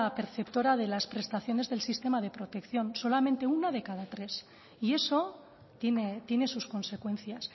perceptora de las prestaciones del sistema de protección solamente una de cada tres y eso tiene sus consecuencias